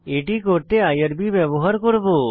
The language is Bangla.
এটি করতে আইআরবি ব্যবহার করব